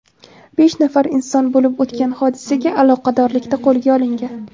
Besh nafar inson bo‘lib o‘tgan hodisaga aloqadorlikda qo‘lga olingan.